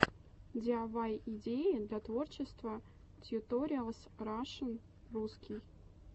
диайвай идеи для творчества тьюториалс рашн русский